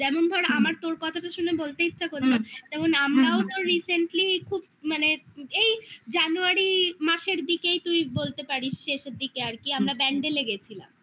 যেমন ধর আমার তোর কথাটা শুনে বলতে ইচ্ছা করলো হ্যাঁ যেমন আমরাও তো recently খুব মানে এই January মাসের দিকেই তুই বলতে পারিস শেষের দিকে আর কি আমরা ব্যান্ডেলে গেছিলাম